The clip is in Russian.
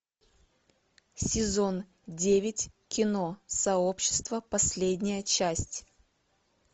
сезон девять кино сообщество последняя часть